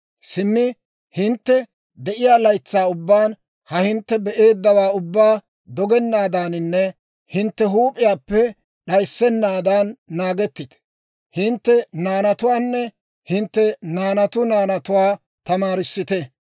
«Simmi hintte de'iyaa laytsaa ubbaan ha hintte be'eeddawaa ubbaa dogennaadaaninne hintte huup'iyaappe d'ayissennaadan naagettite; hintte naanatuwaanne hintte naanatu naanatuwaa tamaarissite.